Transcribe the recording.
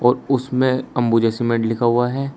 और उसमें अंबुजा सीमेंट लिखा हुआ है।